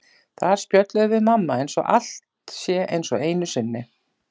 Þar spjöllum við mamma eins og allt sé eins og einu sinni.